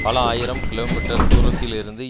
பல ஆயிரம் kilometre தூரத்தில் இருந்து